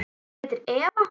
Hún heitir Eva.